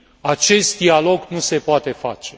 acest dialog nu se poate face.